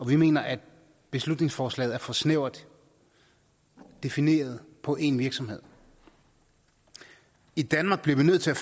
vi mener at beslutningsforslaget er for snævert defineret på én virksomhed i danmark bliver vi nødt til